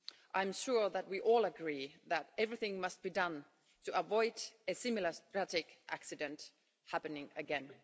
I'm sure that we all agree that everything must be done to avoid a similar tragic accident happening again.